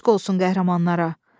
Eşq olsun qəhrəmanlara!